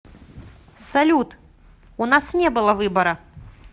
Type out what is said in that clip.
салют у нас не было выбора